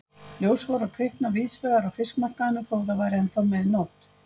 Ljós voru að kvikna víðsvegar á fiskmarkaðinum þó það væri ennþá mig nótt.